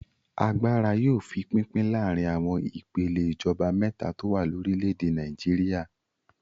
Agbára yóò fi pínpín láàárin àwọn ìpèlè ìjọba mẹ́ta tó wà lórílẹ̀-èdè Nàìjíríà.